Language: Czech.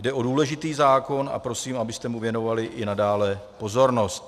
Jde o důležitý zákon a prosím, abyste mu věnovali i nadále pozornost.